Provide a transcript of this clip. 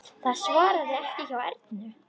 Það svarar ekki hjá Ernu.